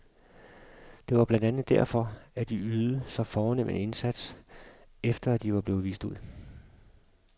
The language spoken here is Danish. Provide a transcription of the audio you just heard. Det var blandt andet derfor, at de ydede så fornem en indsats, efter at du var blevet vist ud.